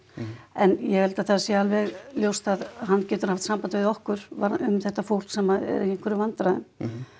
en ég held að það sé alveg ljóst að hann getur haft samband við okkur varðandi eða um þetta fólk sem er í einhverjum vandræðum